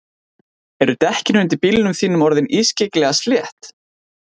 Eru dekkin undir bílnum þínum orðin ískyggilega slétt?